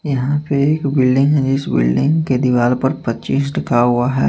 यहां पे एक बिल्डिंग है इस बिल्डिंग के दीवाल पर पच्चीस लिखा हुआ है।